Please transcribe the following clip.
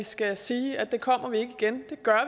skal sige at det kommer vi ikke igen det gør